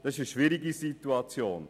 Das ist eine schwierige Situation.